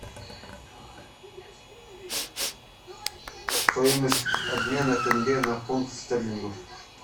стоимость обмена тенге на фунт стерлингов